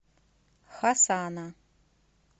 хасана